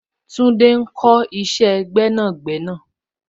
Tunde ń kọ isẹ gbẹ́nàgbẹ́nà.